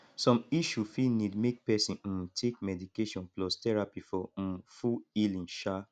som issue fit nid mek pesin um take medication plus therapy for um full healing um